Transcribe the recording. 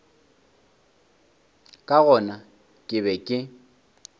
ka gona ke be ke